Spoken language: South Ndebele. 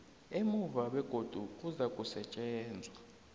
emuva begodu kuzakusetjenzwa